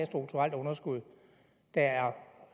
strukturelt underskud der er